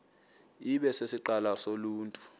ibe sisiqalo soluntu